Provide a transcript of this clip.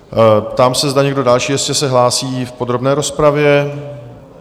Ptám se, zda někdo další se ještě hlásí v podrobné rozpravě?